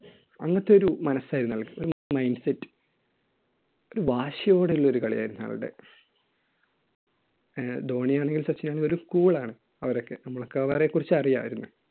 അങ്ങനത്തെ ഒരു മനസായിരുന്നു അയാൾക്ക്. ഒരു mind set ഒരു വാശിയോടെയുള്ള ഒരു കളിയായിരുന്നു അയാളുടെ. ഏർ ധോണിയാണെങ്കിലും സച്ചിനാണെങ്കിലും ഒരു cool ആണ് അവരൊക്കെ. നമുക്ക് അവരെക്കുറിച്ച് അറിയാമായിരുന്നു.